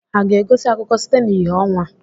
Ha ga-egosi akụkọ site n'ìhè ọnwa?